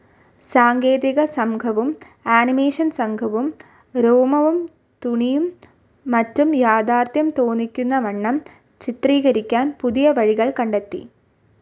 സാങ്കേതികസംഘവും animation സംഘവും രോമവും തുണിയും മറ്റും യാഥാർത്ഥ്യം തോന്നിക്കുന്നവണ്ണം ചിത്രീകരിക്കാൻ പുതിയ വഴികൾ കണ്ടെത്തി.